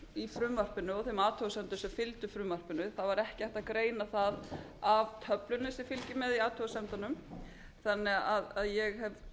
í frumvarpinu og þeim athugasemdum sem fylgdu frumvarpinu það var ekki hægt að greina það af töflunni sem fylgir með í athugasemdunum þannig að ég